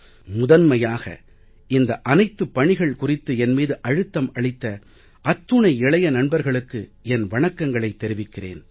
முதன்மையாக இந்த அனைத்து பணிகள் குறித்து என் மீது அழுத்தம் அளித்த அத்துணை இளைய நண்பர்களுக்கு என் வணக்கங்களைத் தெரிவிக்கிறேன்